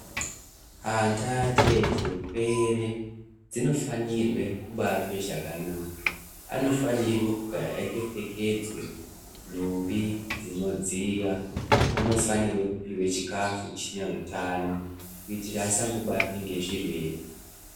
Ana acheche pwere dzinofanirwe kubatwa zvakanaka. Anofanire kugara akapfekedzwe nhumbi dzinodziya. Anofanirwe kupiva chikafu chine hutano kuitira asango batwe ngezvirwere.